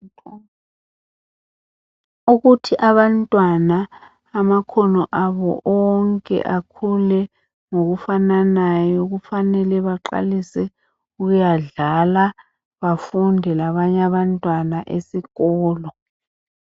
Ukuthi abantwana amakhono abo onke akhule ngokufananayo kufanele baqalisr ukuyadlala bafunde labanye abantwana esikolo.